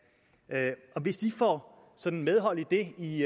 og hvis de får medhold i det i